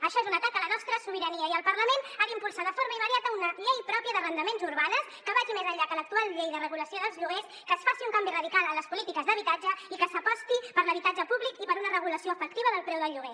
això és un atac a la nostra sobirania i el parlament ha d’impulsar de forma immediata una llei pròpia d’arrendaments urbans que vagi més enllà que l’actual llei de regulació dels lloguers que es faci un canvi radical en les polítiques d’habitatge i que s’aposti per l’habitatge públic i per una regulació efectiva del preu del lloguer